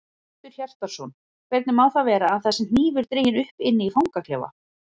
Hjörtur Hjartarson: Hvernig má það vera að það sé hnífur dreginn upp inni í fangaklefa?